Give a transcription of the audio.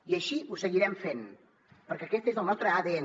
i així ho seguirem fent perquè aquest és el nostre adn